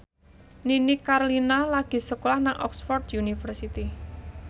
Nini Carlina lagi sekolah nang Oxford university